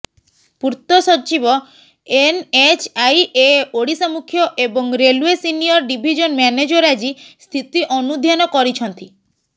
ପୂର୍ତ୍ତ ସଚିବ ଏନ୍ଏଚ୍ଆଇଏ ଓଡ଼ିଶା ମୁଖ୍ୟ ଏବଂ ରେଲୱେ ସିନିୟର ଡିଭିଜନ ମ୍ୟାନେଜର ଆଜି ସ୍ଥିତି ଅନୁଧ୍ୟାନ କରିଛନ୍ତି